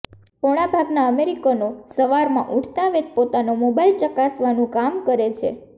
પોણા ભાગનાં અમેરિકનો સવારમાં ઉઠતાંવેંત પોતાનો મોબાઇલ ચકાસવાનું કામ કરે છે